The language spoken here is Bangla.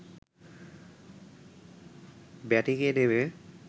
ব্যাটিংয়ে নেমে